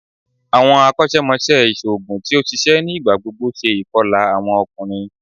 Awọn akọṣẹmọṣẹ iṣoogun ti oṣiṣẹ ni igbagbogbo ṣe ikọla awọn ọkunrin